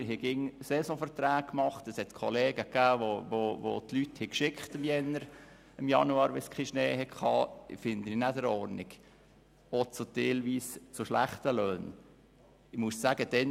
wir schlossen jeweils Saisonverträge ab, im Gegensatz zu Kollegen, die ihr zum Teil schlecht bezahltes Personal im Januar bei Schneemangel entliessen, was ich nicht richtig finde.